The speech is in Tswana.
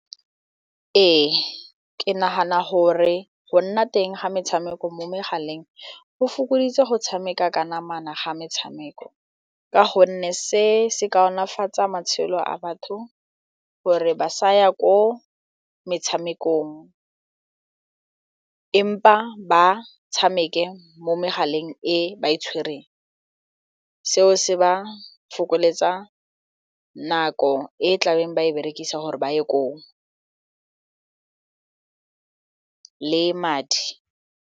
Ee, ke nagana gore go nna teng ga metshameko mo megaleng go fokoditse go tshameka ka namana ga metshameko ka gonne se se kaonafatsa matshelo a batho gore ba sa ya ko metshamekong empa ba tshameke mo megaleng e ba e tshwereng seo se ba fokoletsa nako e tlabeng ba e berekisa gore ba ye koo le madi.